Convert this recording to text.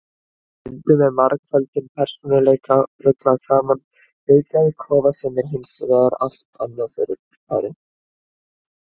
Stundum er margföldum persónuleika ruglað saman við geðklofa sem er hins vegar allt annað fyrirbæri.